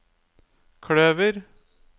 kløver